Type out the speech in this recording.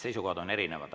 Seisukohad on erinevad.